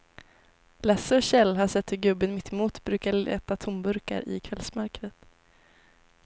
Lasse och Kjell har sett hur gubben mittemot brukar leta tomburkar i kvällsmörkret.